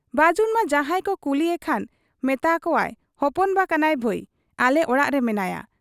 ᱵᱟᱹᱡᱩᱱᱢᱟ ᱡᱟᱦᱟᱸᱭᱠᱚ ᱠᱩᱞᱤ ᱮᱠᱷᱟᱱ ᱢᱮᱛᱟ ᱟᱠᱚᱣᱟᱭ ᱦᱚᱯᱚᱱᱵᱟ ᱠᱟᱱᱟᱭ ᱵᱷᱟᱹᱭ, ᱟᱞᱮ ᱚᱲᱟᱜ ᱨᱮ ᱢᱮᱱᱟᱭᱟ ᱾